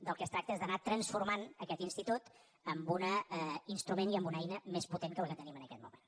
del que es tracta és d’anar transformant aquest institut en un instrument i en una eina més potent que la que tenim en aquest moment